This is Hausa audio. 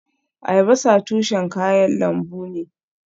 Albasa tushen kayan lambu ne